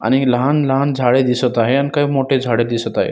आणि लहान लहान झाडे दिसत आहे आणि काही मोठे झाड दिसत आहे.